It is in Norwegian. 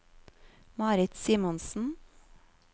Marit Simonsen